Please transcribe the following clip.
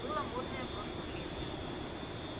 было модное прошлым летом